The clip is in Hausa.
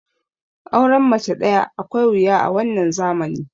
auren mace daya akwai wuya a wannan zamani